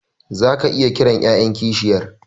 Zaka iya kiran yayan kishiyar